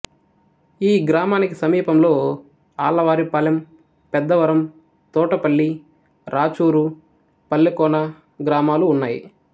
ఈ గ్రామానికి సమీపంలో ఆళ్ళవారిపాలెం పెద్దవరం తోటపల్లి రాచూరు పల్లెకోన గ్రామాలు ఉన్నాయి